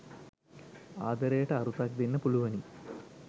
ආදරයට අරුතක් දෙන්න පුළුවනි